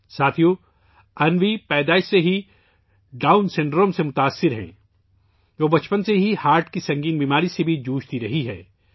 ساتھیو ، انوی پیدائش سے ہی ڈاؤن سنڈروم کا شکار ہے اور وہ بچپن سے ہی دل کی سنگین بیماری سے بھی لڑ رہی ہے